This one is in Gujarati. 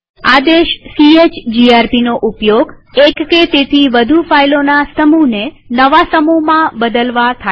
આદેશ chgrpનો ઉપયોગ એક કે તેથી વધુ ફાઈલોના સમુહને નવા સમૂહમાં બદલવા થાય છે